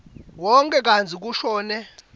wonkhe kantsi kushone